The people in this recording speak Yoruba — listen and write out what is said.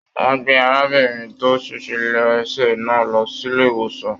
Wọn gbé arábìnrin tó se lésè náà lọ sílé ìwòsàn.